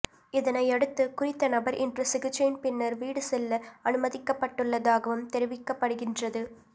இதனையடுத்து குறித்த நபர் இன்று சிகிச்சையின் பின்னர் வீடு செல்ல அனுமதிக்கப்பட்டுள்ளதாகவும் தெரிவிக்கப்படுகின்றது